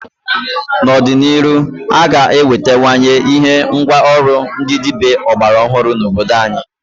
N'ọdị n'iru a ga enwetawanye ihe ngwa ọrụ ndị dịbịa ọgbara ọhụrụ n'obodo anyị.